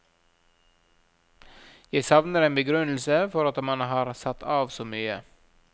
Vi savner en begrunnelse for at man har satt av så mye.